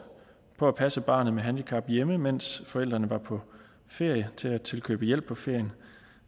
på at passe barnet med handicap hjemme mens forældrene var på ferie til at tilkøbe hjælp på ferien